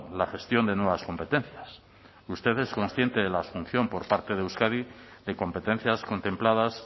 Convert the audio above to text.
la gestión de nuevas competencias usted es consciente de la asunción por parte de euskadi de competencias contempladas